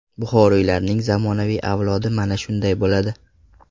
Buxoriylarning zamonaviy avlodi mana shunday bo‘ladi!